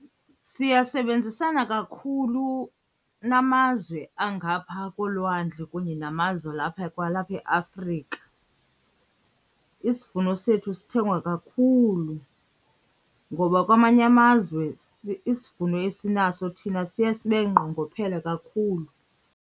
Siyasebenzisana kakhulu namazwe angaphaa kolwandle kunye namazwe alapha kwalapha eAfrika. Isivuno sethu sithengwa kakhulu ngoba kwamanye amazwe isivuno esinaso thina siye sibe nqongophele kakhulu.